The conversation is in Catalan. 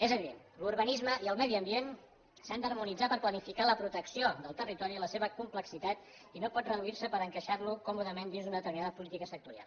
és a dir l’urbanisme i el medi ambient s’han d’harmonitzar per planificar la protecció del territori i la seva complexitat i no pot reduir se per encaixar lo còmodament dins d’una determinada política sectorial